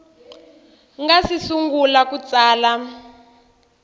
nga si sungula ku tsala